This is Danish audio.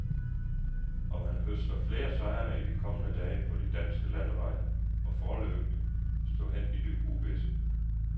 Om han høster flere sejre i de kommende dage på de danske landeveje, må foreløbig stå hen i det uvisse.